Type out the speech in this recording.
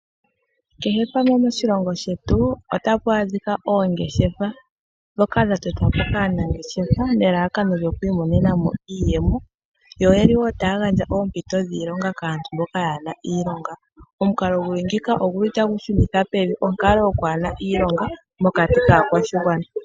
Kehe pamwe moshilongo shetu otapu adhika oongeshefa, dhokaa dha totwa po kaanangeshefa nelalakano lyoku imonena mo iiyemo, yo yeli wo taya gandja oompito dhiilonga kaantu mboka yaana iilonga. Omukalo guli ngika oguli tagu shunitha pevi onkalo yokwaana iilonga mokati kaa kwashigwana.